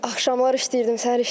Axşamlar işləyirdim, səhər işləyirdim.